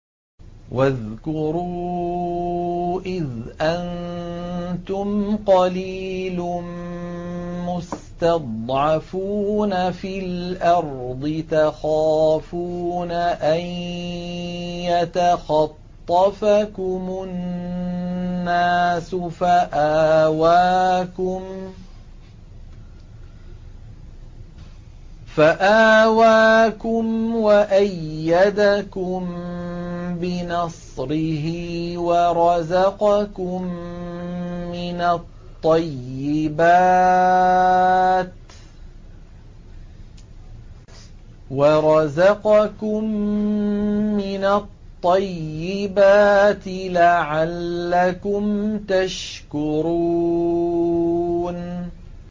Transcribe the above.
وَاذْكُرُوا إِذْ أَنتُمْ قَلِيلٌ مُّسْتَضْعَفُونَ فِي الْأَرْضِ تَخَافُونَ أَن يَتَخَطَّفَكُمُ النَّاسُ فَآوَاكُمْ وَأَيَّدَكُم بِنَصْرِهِ وَرَزَقَكُم مِّنَ الطَّيِّبَاتِ لَعَلَّكُمْ تَشْكُرُونَ